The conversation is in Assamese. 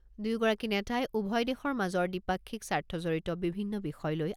দুয়োগৰাকী নেতাই উভয় দেশৰ মাজৰ দ্বিপাক্ষিক স্বাৰ্থজড়িত বিভিন্ন বিষয় লৈ